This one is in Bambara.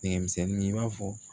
Nɛgɛ misɛnnin in b'a fɔ